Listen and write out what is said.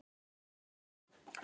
Engan veginn